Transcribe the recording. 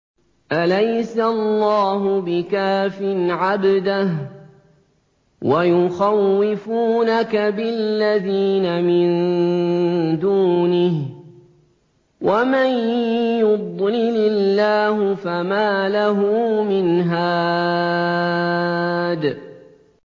أَلَيْسَ اللَّهُ بِكَافٍ عَبْدَهُ ۖ وَيُخَوِّفُونَكَ بِالَّذِينَ مِن دُونِهِ ۚ وَمَن يُضْلِلِ اللَّهُ فَمَا لَهُ مِنْ هَادٍ